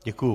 Děkuji.